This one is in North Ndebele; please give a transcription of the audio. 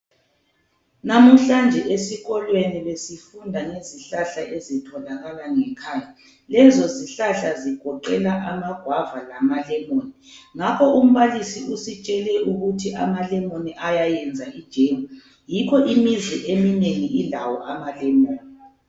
Namuhlanje esikolweni besifunda ngezihlahla ezitholakala ngekhaya, lezo zihlahla zigoqela amagwava lamalemoni ngakho umbalisi usitshele ukuthi amalemoni ayayenza ijemu, yikho imizi eminengi ilawo amalemoni.